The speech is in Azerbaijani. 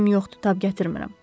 Gücüm yoxdur, tab gətirmirəm.